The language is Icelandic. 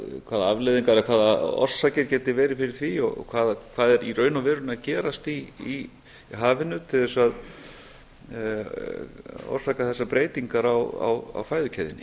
hvaða afleiðingar eða hvaða orsakir geti verið fyrir því og hvað er í raun og veru að gerast í hafinu til þess að orsaka þessar breytingar á fæðukeðjunni